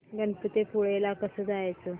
गणपतीपुळे ला कसं जायचं